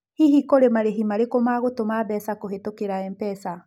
Hihi kũrĩ na marĩhi marĩkũ ma gũtũma mbeca kũhĩtũkĩra M-pesa?